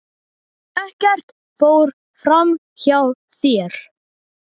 Ekkert fór fram hjá þér.